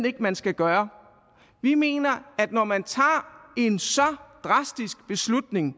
ikke at man skal gøre vi mener at når man tager en så drastisk beslutning